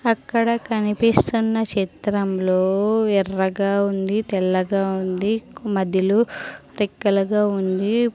అక్కడ కనిపిస్తున్న చిత్రంలో ఎర్రగా ఉంది తెల్లగా ఉంది మధ్యలో రెక్కలగా ఉంది.